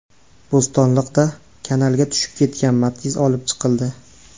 Bo‘stonliqda kanalga tushib ketgan Matiz olib chiqildi.